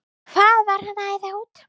Hvað var hann að æða út?